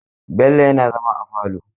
Bello yana zama a falo.